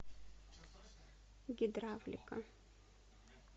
гидравлика